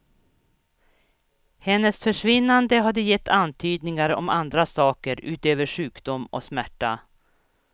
Hennes försvinnande hade gett antydningar om andra saker utöver sjukdom och smärta.